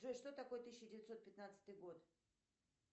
джой что такое тысяча девятьсот пятнадцатый год